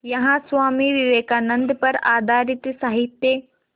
यहाँ स्वामी विवेकानंद पर आधारित साहित्य